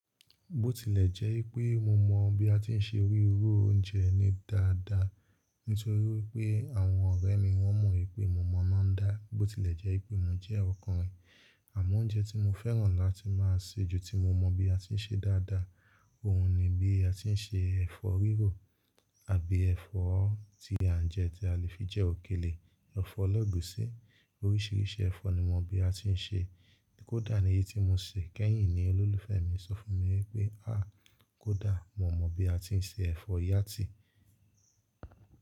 Bó tilẹ̀ jẹ́ pé mo mọ̀ bí a ti ń se rírò oúnjẹ ní dáadáa, nítorí pé àwọn ọ̀rẹ́ mi wọ́n mọ̀ pé mo mọ̀ná dá. Bó tilẹ̀ jẹ́ pé mo jẹ́ ọkùnrin, àmọ́ oúnjẹ tí mo fẹ́ràn láti máa ṣe ju tí mo mọ̀ bí a ti ń ṣe dáadáa, òun ni bí a ti ń ṣe ẹ̀fọ́ rírò àbí ẹ̀fọ́ tí à ń jẹ tí a lè fi jẹ òkèlè, ẹ̀fọ́ elegusí, oríṣiríṣi ẹ̀fọ́ ni mo mọ̀ bí a ti ń ṣe. Kódà ní èyí tí mo ṣè kẹ́yìn ní olólùfẹ́ mi sọ fún mi wípé, a kódà mo mọ̀ bí a ti ń ṣe ẹ̀fọ́ yátì.